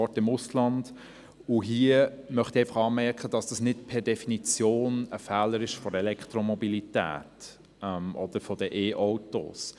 Dazu möchte ich anmerken, dass das nicht per Definition ein Fehler der Elektromobilität ist.